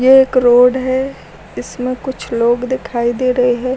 एक रोड है इसमें कुछ लोग दिखाई दे रहे हैं।